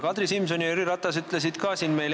Kadri Simson ja Jüri Ratas ütlesid seda ka.